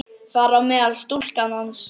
Þar á meðal stúlkan hans.